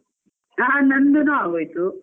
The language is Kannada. ಹಾ ನಂದೂನು ಅಗೋಯ್ತು.